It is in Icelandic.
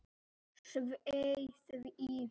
Svei því.